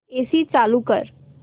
AC चालू कर